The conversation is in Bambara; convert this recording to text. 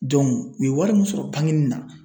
Dɔnku u ye wari min sɔrɔ bangeni na